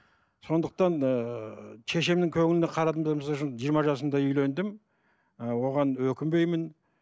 сондықтан ыыы шешемнің көңіліне қарадым да жиырма жасымда үйлендім ы оған өкінбеймін